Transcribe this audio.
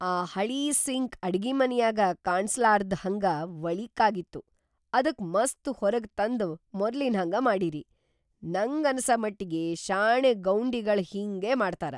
ಆ ಹಳೀ ಸಿಂಕ್‌ ಅಡಿಗಿಮನ್ಯಾಗ ಕಾಣಸ್ಲಾರ್ದ್‌ ಹಂಗ ವಳೀಕಾಗಿತ್ತು ಅದಕ್‌ ಮಸ್ತ್‌ ಹೊರಗತಂದ್‌ ಮೊದ್ಲಿನ್ಹಂಗ ಮಾಡಿರಿ. ನಂಗನಸ ಮಟ್ಟಿಗಿ ಶಾಣೆ ಗೌಂಡಿಗಳ್‌ ಹಿಂಗೇ ಮಾಡ್ತಾರ.